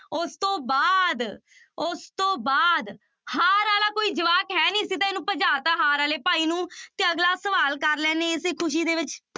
ਉਸ ਤੋਂ ਬਾਅਦ, ਉਸ ਤੋਂ ਬਾਅਦ ਹਾਰ ਵਾਲਾ ਕੋਈ ਜਵਾਕ ਹੈ ਨੀ ਅਸੀਂ ਤਾਂ ਇਹਨਾਂ ਭਜਾ ਦਿੱਤਾ ਹਾਰ ਵਾਲੇ ਭਾਈ ਨੂੰ ਤੇ ਅਗਲਾ ਸਵਾਲ ਕਰ ਲੈਂਦੇ ਹਾਂ ਇਸੇ ਖ਼ੁਸ਼ੀ ਦੇ ਵਿੱਚ।